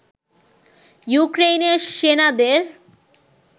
ইউক্রেইনের সেনাদের